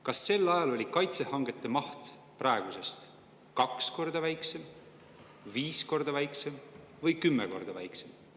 Kas sel ajal oli kaitsehangete maht praegusest kaks korda väiksem, viis korda väiksem või kümme korda väiksem?